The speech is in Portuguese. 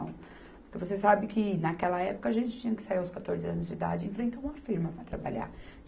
Você sabe que naquela época a gente tinha que sair aos quatorze anos de idade e enfrentar uma firma para trabalhar.